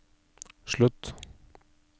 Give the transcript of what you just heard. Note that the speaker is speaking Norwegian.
slutt